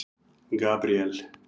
Gabríel